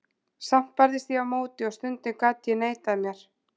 Samt barðist ég á móti og stundum gat ég neitað mér.